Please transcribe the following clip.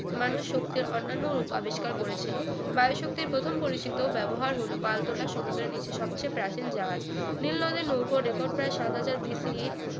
মানুষ শক্তির অন্যান্ন রূপ আবিষ্কার করেছিল নারী শক্তির প্রথম পরিচিত ব্যবহার হলো পালতোলা সমুদ্রের নিচে সবচেয়ে প্রাচীন জাহাজ নীলনদের নৌকোর রেকর্ড প্রায় সাত হাজার বিসি